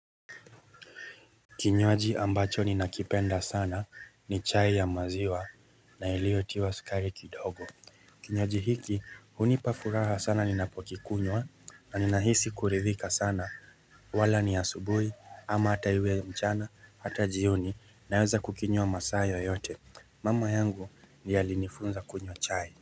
Kinywaji ambacho ninakipenda sana ni chai ya maziwa na ilio tiwa sukari kidogo. Kinywaji hiki hunipa furaha sana ninapo kikunywa na ninahisi kuridhika sana wala ni asubuhi ama hata iwe mchana hata jioni naweza kukinywa masaa yoyote mama yangu ndiye alinifunza kunywa chai.